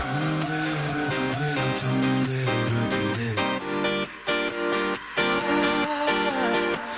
күндер өтуде түндер өтуде